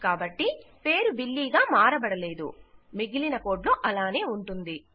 కాబట్టి పేరు బిల్లీ గా మారబడలేదు మిగిలిన కోడ్ లో అలానే ఉంటుంది